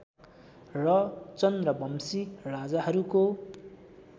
र चन्द्रवंशी राजाहरूको